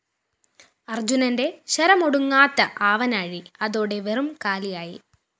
അര്‍ജുനന്റെ ശരമൊടുങ്ങാത്ത ആവനാഴി അതോടെ വെറും കാലിയായി